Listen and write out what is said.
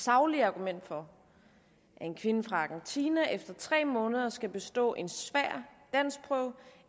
saglige argument for at en kvinde fra argentina efter tre måneder skal bestå en svær danskprøve